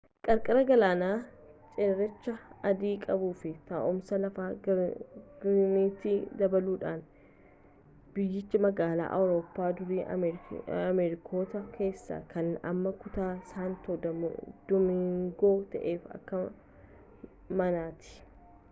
qarqara galaanaa cerrecha adii qabuu fi taa'umsa lafaa gaarreeniitti dabaluudhaan biyyichi magaalaa awurooppaa durii ameerikota keessaa kan amma kutaa saantoo doomingoo ta'eef akka manaati